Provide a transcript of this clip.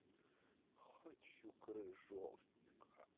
хочу крыжовника